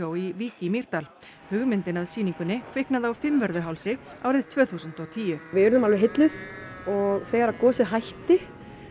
í Vík í Mýrdal hugmyndin að sýningunni kviknaði á Fimmvörðuhálsi árið tvö þúsund og tíu við urðum alveg heilluð og þegar gosið hætti